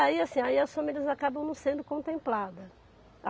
Aí assim as famílias acabam não sendo contempladas.